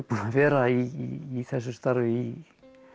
vera í þessu starfi í